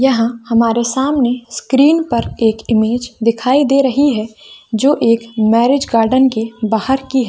यह हमारे सामने स्क्रीन पर एक इमेज दिखाई दे रही है जो एक मैरिज गार्डन के बाहर की है।